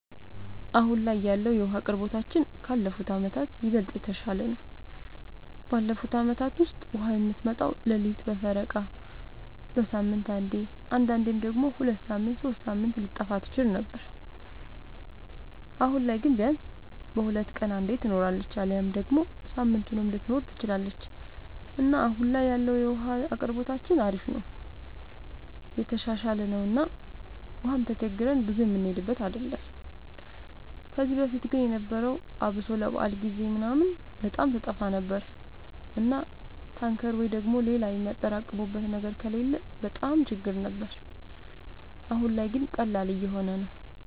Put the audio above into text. አሁን ላይ ያለወለ የዉሀ አቅርቦታችን ካለፉት አመታት ይበልጥ የተሻለ ነው። ባለፉት አመታት ውስጥ ውሃ የምትመጣው ሌሊት በፈረቃ፣ በሳምንት አንዴ አንዳንዴም ደግሞ ሁለት ሳምንት ሶስት ሳምንት ልትጠፋ ትችል ነበር። አሁን ላይ ግን ቢያንስ በሁለት ቀን አንዴ ትኖራለች አሊያም ደግሞ ሳምንቱንም ልትኖር ትችላለች እና አሁን ላይ ያለው የውሃ አቅርቦታችን አሪፍ ነው የተሻሻለ ነው እና ውሃም ተቸግረን ብዙ የምንሄድበት አይደለም። ከዚህ በፊት ግን የነበረው አብሶ ለበዓል ጊዜ ምናምን በጣም ትጠፋ ነበር እና ታንከር ወይ ደግሞ ሌላ በጣም የሚያጠራቅሙበት ነገር ከሌለ በጣም ችግር ነበር። አሁን ላይ ግን ቀላል እየሆነ ነው።